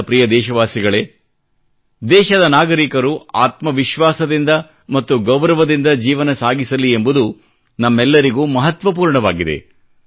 ನನ್ನ ಪ್ರಿಯ ದೇಶವಾಸಿಗಳೇ ದೇಶದ ನಾಗರಿಕರು ಆತ್ಮ ವಿಶ್ವಾಸದಿಂದ ಮತ್ತು ಗೌರವದಿಂದ ಜೀವನ ಸಾಗಿಸಲಿ ಎಂಬುದು ನಮ್ಮೆಲ್ಲರಿಗೂ ಮಹತ್ವಪೂರ್ಣವಾಗಿದೆ